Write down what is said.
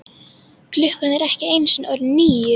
Klukkan er ekki einu sinni orðin níu.